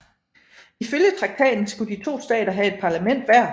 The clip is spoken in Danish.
Ifølge traktaten skulle de to stater have et parlament hver